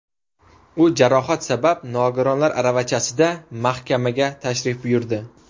U jarohat sabab nogironlar aravachasida mahkamaga tashrif buyurdi.